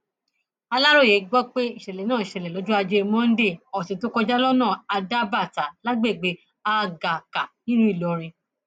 aláròye gbọ pé ìṣẹlẹ náà ṣẹlẹ lọjọ ajé monde ọsẹ tó kọjá lọnà adábàtà lágbègbè àgàkà nílùú ìlọrin